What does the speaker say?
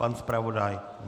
Pan zpravodaj?